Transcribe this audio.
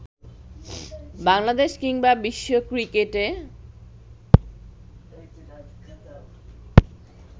বাংলাদেশ কিংবা বিশ্ব ক্রিকেটে